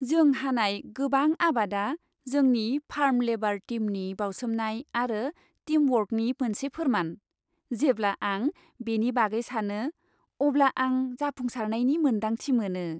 जों हानाय गोबां आबादा जोंनि फार्म लेबार टीमनि बावसोमनाय आरो टीमवर्कनि मोनसे फोरमान। जेब्ला आं बेनि बागै सानो अब्ला आं जाफुंसारनायनि मोन्दांथि मोनो।